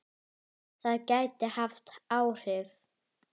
Það gæti haft áhrif.